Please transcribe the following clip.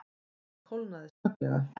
Honum kólnaði snögglega.